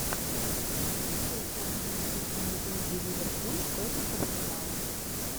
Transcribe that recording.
встреча английской премьер лиги ливерпуль против арсенала